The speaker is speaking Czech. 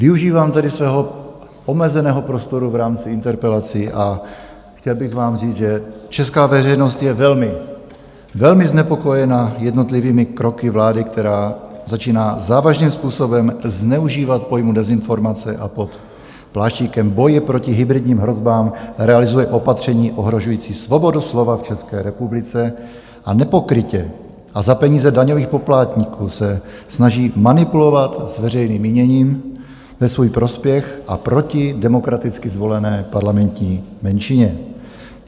Využívám tedy svého omezeného prostoru v rámci interpelací a chtěl bych vám říct, že česká veřejnost je velmi, velmi znepokojena jednotlivými kroky vlády, která začíná závažným způsobem zneužívat pojmu dezinformace a pod pláštíkem boje proti hybridním hrozbám realizuje opatření ohrožující svobodu slova v České republice a nepokrytě a za peníze daňových poplatníků se snaží manipulovat s veřejným míněním ve svůj prospěch a proti demokraticky zvolené parlamentní menšině.